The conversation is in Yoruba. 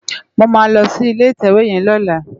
Mó má lò si ilé itèwé yèn lòlá